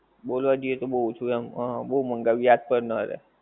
બોલવા જઇયે કે બહું ઓછું આમ હા હા બહું મંગાયું યાદ કર નારે